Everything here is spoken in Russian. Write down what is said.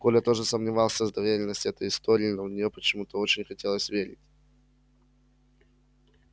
коля тоже сомневался в достоверности этой истории но в нее почему то очень хотелось верить